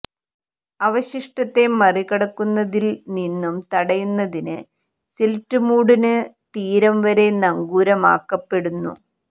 അവശിഷ്ടത്തെ മറികടക്കുന്നതിൽ നിന്നും തടയുന്നതിന് സിൽറ്റ് മൂടുന് തീരം വരെ നങ്കൂരമാക്കപ്പെടുന്നു